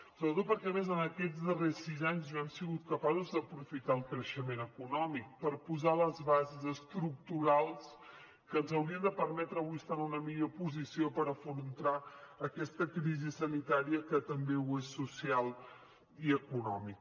sobretot perquè a més en aquests darrers sis anys no han sigut capaços d’aprofitar el creixement econòmic per posar les bases estructurals que ens haurien de permetre avui estar en una millor posició per afrontar aquesta crisi sanitària que també és social i econòmica